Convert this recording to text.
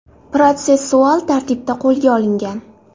protsessual tartibda qo‘lga olingan.